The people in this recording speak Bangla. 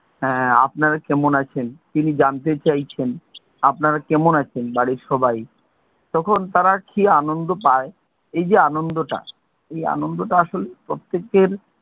হ্যাঁ আপনারা কেমন আছেন, তিনি জানতে চাইছেন। আপনারা কেমন আছেন বাড়ির সবাই? তখন তারা কি আনন্দ পায়, এই যে আনন্দটা, এই আনন্দটা আসলে প্রত্যেকের,